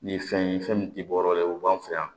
Nin fɛn ye fɛn min tɛ bɔ o la o b'an fɛ yan